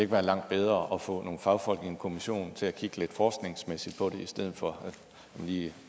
være langt bedre at få nogle fagfolk i en kommission til at kigge lidt forskningsmæssigt på det i stedet for at vi